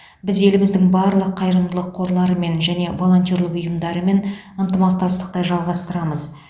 біз еліміздің барлық қайырымдылық қорларымен және волонтерлік ұйымдарымен ынтымақтастықты жалғастырамыз